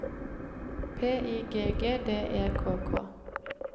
P I G G D E K K